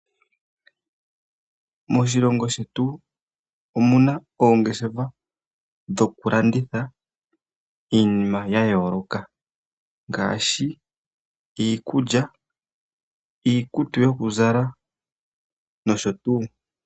Moshilongo shetu omuna oongeshefa dhokulanditha iinima ya yooloka, ngaashi; iikulya, iikutu yokuzala nosho tuu.